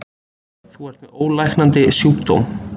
Þú ert með ólæknandi sjúkdóm.